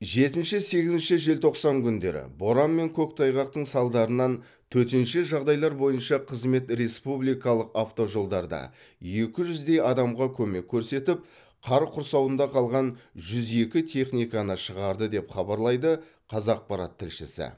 жетінші сегізінші желтоқсан күндері боран мен көктайғақтың салдарынан төтенше жағдайлар бойынша қызмет республикалық автожолдарда екі жүздей адамға көмек көрсетіп қар құрсауында қалған жүз екі техниканы шығарды деп хабарлайды қазақпарат тілшісі